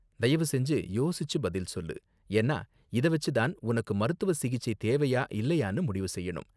தயவு செஞ்சு யோசிச்சு பதில் சொல்லு, ஏன்னா இத வெச்சு தான் உனக்கு மருத்துவ சிகிச்சை தேவையா இல்லயானு முடிவு செய்யணும்.